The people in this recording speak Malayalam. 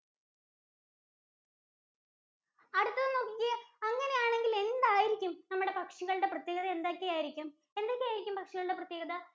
അടുത്തത് നോക്കിക്കേ, അങ്ങനെയാണെങ്കില് എന്തായിരിക്കും നമ്മുടെ പക്ഷികളുടെ പ്രത്യേകത എന്തൊക്കെയായിരിക്കും? എന്തൊക്കെയായിരിക്കും പക്ഷികളുടെ പ്രത്യേകത?